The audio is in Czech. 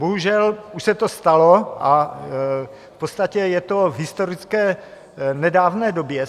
Bohužel už se to stalo a v podstatě je to v historické nedávné době.